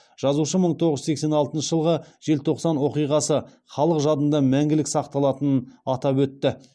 жазушы мың тоғыз жүз сексен алтыншы жылғы желтоқсан оқиғасы халық жадында мәңгілік сақталатынын атап өтті